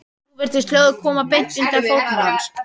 Nú virtist hljóðið koma beint undan fótum hans.